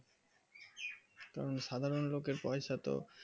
তো সাধারণ গত পয়সা তো